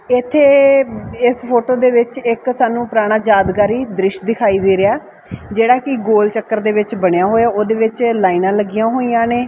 ਇਥੇ ਇਸ ਫੋਟੋ ਦੇ ਵਿੱਚ ਇੱਕ ਸਾਨੂੰ ਪੁਰਾਣਾ ਯਾਦਗਾਰੀ ਦ੍ਰਿਸ਼ ਦਿਖਾਈ ਦੇ ਰਿਹਾ ਜਿਹੜਾ ਕਿ ਗੋਲ ਚੱਕਰ ਦੇ ਵਿੱਚ ਬਣਿਆ ਹੋਇਆ ਉਹਦੇ ਵਿੱਚ ਲਾਈਨਾਂ ਲੱਗੀਆਂ ਹੋਈਆਂ ਨੇ।